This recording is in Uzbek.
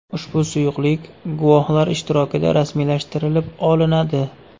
Ushbu suyuqlik guvohlar ishtirokida rasmiylashtirilib olinadi.